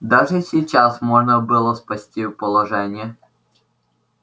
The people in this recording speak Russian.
даже сейчас можно было спасти положение